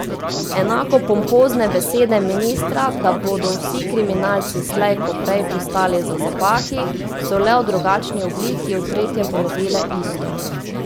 Enako pompozne besede ministra, da bodo vsi kriminalci slej ko prej pristali za zapahi, so le v drugačni obliki v tretje ponovile isto.